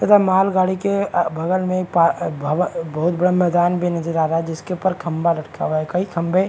तथा मालगाड़ी के अगल बगल में एक पा एक भव बहुत बड़ा मैदान भी नजर आ रहा है जिसके उपर खंबा लटका हुआ है कई खंबे --